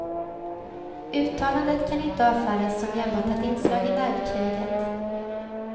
Uttalandet kan inte avfärdas som enbart ett inslag i nervkriget.